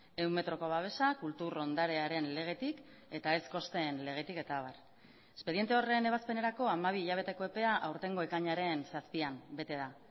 ehun metroko babesa kultur ondarearen legetik eta ez kosten legetik eta abar espediente horren ebazpenerako hamabi hilabeteko epea aurtengo ekainaren zazpian bete da